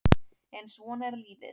En svona er lífið